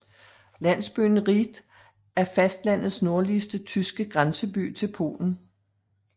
Landsbyen Rieth er fastlandets nordligste tyske grænseby til Polen